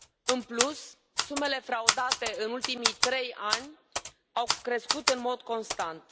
În plus, sumele fraudate în ultimii trei ani au crescut în mod constant.